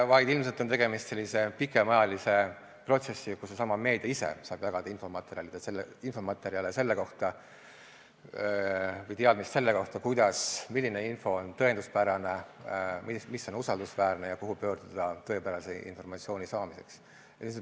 Ilmselt on tegemist pikemaajalise protsessiga, kus seesama meedia ise saab jagada infomaterjale või teadmist selle kohta, milline info on tõenduspärane, mis on usaldusväärne ja kuhu pöörduda tõepärase informatsiooni saamiseks.